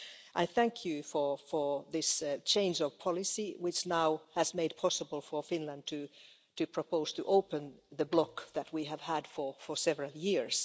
I thank you for this change of policy, which now has made possible for Finland to propose to open the blockage that we have had for several years.